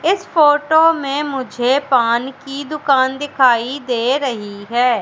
इस फोटो में मुझे पान की दुकान दिखाई दे रही है।